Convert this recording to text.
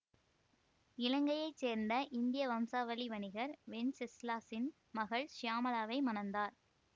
இலங்கையை சேர்ந்த இந்திய வம்சாவளி வணிகர் வென்செஸ்லாஸின் மகள் சியாமளாவை மணந்தார்